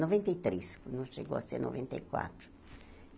Noventa e três não chegou a ser noventa e quatro.